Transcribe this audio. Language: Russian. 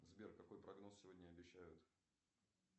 сбер какой прогноз сегодня обещают